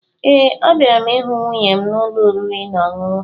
Ee, abịara m ịhụ nwunye m n'ụlọ oriri na ọṅụṅụ